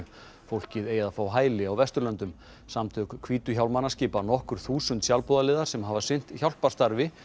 fólkið eigi að fá hæli á Vesturlöndum samtök hvítu hjálmana skipa nokkur þúsund sjálfboðaliðar sem hafa sinnt hjálparstarfi